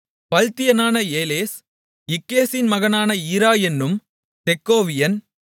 பல்தியனான ஏலெஸ் இக்கேசின் மகனான ஈரா என்னும் தெக்கோவியன்